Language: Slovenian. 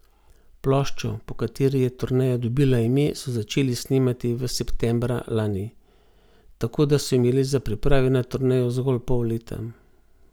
Ploščo, po kateri je turneja dobila ime, so začeli snemati v septembra lani, tako da so imeli za priprave na turnejo zgolj pol leta.